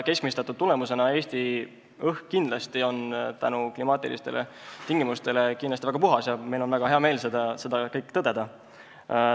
Keskmistatud tulemusena on Eesti õhk kindlasti tänu klimaatilistele tingimustele väga puhas ja meil on väga hea meel seda tõdeda.